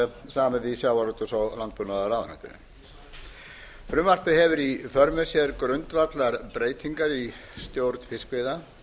samið í sjávarútvegs og landbúnaðarráðuneytinu frumvarpið hefur í för með sér grundvallarbreytingar í stjórn fiskveiða